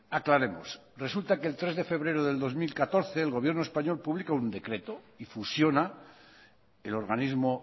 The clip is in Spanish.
aclaremos resulta que el tres de febrero del dos mil catorce el gobierno español publica un decreto y fusiona el organismo